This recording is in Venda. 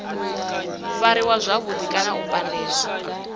fariwa zwavhudi kana u pandelwa